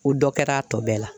O dɔ kɛra a tɔ bɛɛ la.